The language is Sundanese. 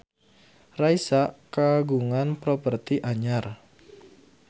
Raisa kagungan properti anyar